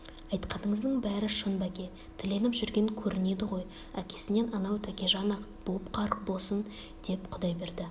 айтқаныңыздың бәрі шын бәке тіленіп жүрген көрінеді ғой әкесінен анау тәкежан-ақ боп қарқ босын деп құдайберді